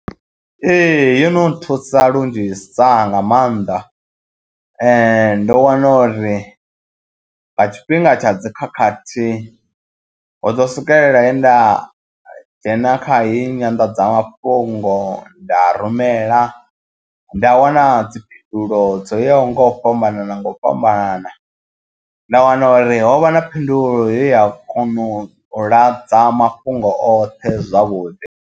Ee, yo no nthusa lunzhisa nga maanḓa ndo wana uri nga tshifhinga tsha dzikhakhathi ho ḓo swikelela he nda dzhena kha heyi nyanḓadzamafhungo nda rumela nda wana dziphindulo dzo yaho nga u fhambanana nga u fhambanana nda wana uri ho vha na phindulo ya kona u ladza mafhungo oṱhe zwavhuḓi.